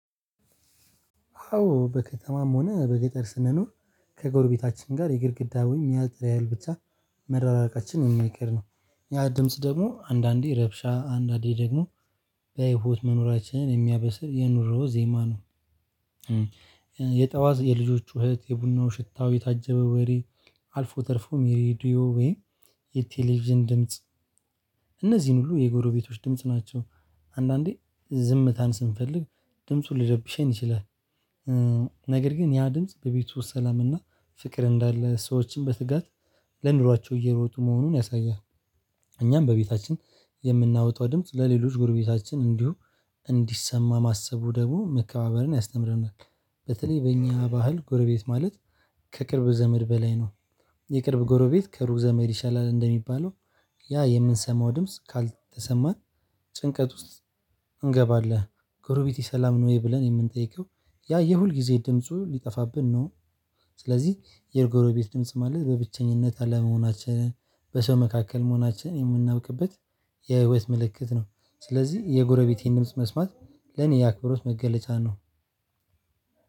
አዎ በከተማም ሆነ በገጠር ስንኖር ከጎርቤታችን ጋር የግድግዳውን ያጥር ያህል ብቻ መራራቃችን የማይቀር ነው። ያ ድምጽ ደግሞ አንዳንዴ ረብሻ አንዳንዴ ደግሞ በህይወት መኖራችንን የሚያበስር የኑሮ ዜማ ነው። የጠዋት የልጆች ጩኸት የቡናው ሽታው የታጀበ ወሬ አልፎ ተርፎም የሬዲዮ ወይም የቴሌቪዥን ድምጽ ሁሉ የጎረቤቶች ድምጽ ናቸው። አንዳንዴ ዝምታን ስንፈልግ ድምጹን ልረብሸን ይችላል። ነገር ግን ያ ድምጽ በቤቱ ሰላምና ፍቅር እንዳለ ሰዎችን በትጋት ለኑሯቸው እየሮጡ መሆኑን ያሳያል። እኛም በቤታችን የምናወጣው ድምጽ ለሌሎች ጎርቤታችን እንዲሁ እንዲሰማ ማሰቡ ደግሞ መከባበርን ያስተምረናል። በተለይ በእኛ ባህል ጎረቤት ማለት ከቅርብ ዘመድ በላይ ነው። የቅርብ ጎረቤት ከሩቅ ዘመድ ይሻላል እንደሚባለው ያ የምንሰማው ድምጽ ካልተሰማን። ጭንቀት ውስጥ እንገባለን ጎርቤቴ ሰላም ነው ወይ ብለን የምንጠይቀው ያ የሁልጊዜ ድምፁ ሊጠፋብን ነው። ስለዚህ የጎረቤት ድምጽ ማለት በብቸኝነት በሰው መካከል መሆናችን የምናብቅበት የህይወት ምልክት ነው። ስለዚህ የጎረቤቴን ድምጽ መስማት ለኔ የአክብሮት መገለጫ ነው።